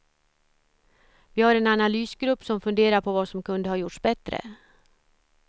Vi har en analysgrupp som funderar på vad som kunde ha gjorts bättre.